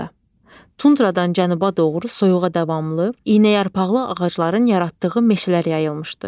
Tundradan cənuba doğru soyuğa davamlı iynəyarpaqlı ağacların yaratdığı meşələr yayılmışdı.